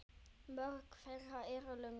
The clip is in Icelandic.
Mörg þeirra eru löng.